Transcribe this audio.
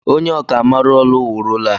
Onye ọkà maara ọlu wuru ụlọ a